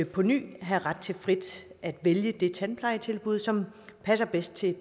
på ny have ret til frit at vælge det tandplejetilbud som passer bedst til